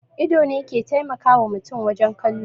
Ido ne ke taimakawa mutum wajen kallo